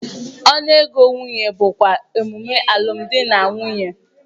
Ọnụ ego nwunye bụkwa emume alụmdi na nwunye.